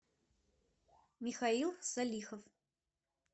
михаил салихов